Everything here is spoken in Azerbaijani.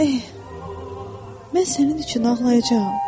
Eh, mən sənin üçün ağlayacam.